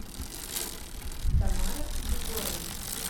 тамара егорова